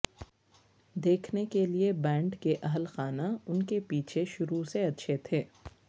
دیکھنے کے لئے بینڈ کے اہل خانہ ان کے پیچھے شروع سے اچھے تھے